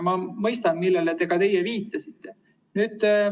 Ma mõistan, millele ka teie viitasite.